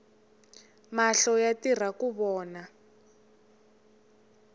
mahlo yatirhaku vona